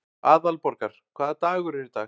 Aðalborgar, hvaða dagur er í dag?